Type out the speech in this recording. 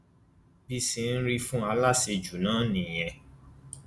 bí i ṣeé rí fún aláṣejù náà nìyẹn